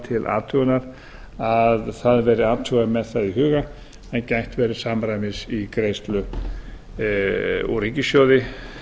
til athugunar að það verði athugað með það í huga en gætt verði samræmis í greiðslu úr ríkissjóði